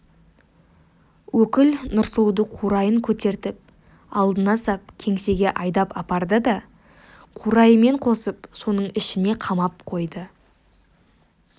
өкіл нұрсұлуды қурайын көтертіп алдына сап кеңсеге айдап апарды да қурайымен қосып соның ішіне қамап қойды